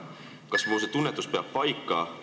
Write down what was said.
Kas mu tunnetus peab paika?